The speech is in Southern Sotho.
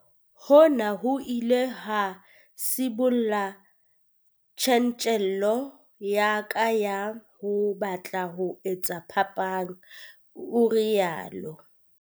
"Hona ho ile ha sibolla tjantjello ya ka ya ho batla ho etsa phapang," o rialo.